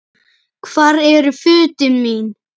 Hvar eru fötin mín?